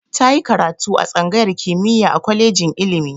Ta yi karatu a tsangayar kimiyya a kolejin ilimi.